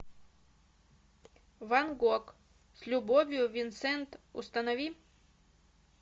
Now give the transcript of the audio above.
ван гог с любовью винсент установи